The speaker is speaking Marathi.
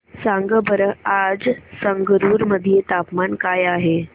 सांगा बरं आज संगरुर मध्ये तापमान काय आहे